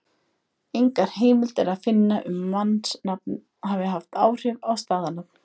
Engar heimildir er að finna um að mannsnafnið hafi haft áhrif á staðarnafnið.